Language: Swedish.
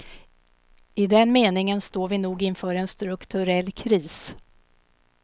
I den meningen står vi nog inför en strukturell kris.